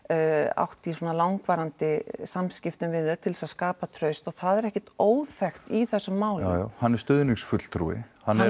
átt í svona langvarandi samskiptum við þau til þess að skapa traust og það er ekkert óþekkt í þessum málum hann er stuðningsfulltrúi